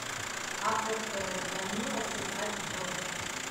апп звонило сыграть в